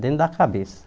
Dentro da cabeça.